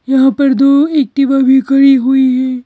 यहाँ पर दो एक्टिवा भी खड़ी हुई हैं।